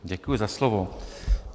Děkuji za slovo.